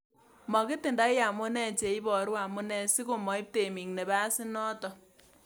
Makitindoi amune cheiboru amune si komoib temik napasinoton.